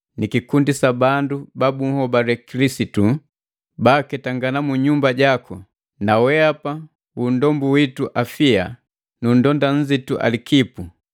ni kikundi sa bandu babunhobale Kilisitu baaketangana mu nyumba jaku, na wehapa wu nndombu witu Afia na nndonda nnzitu Alikipu.